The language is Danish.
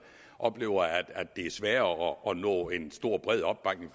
oplever at det er sværere at nå en stor bred opbakning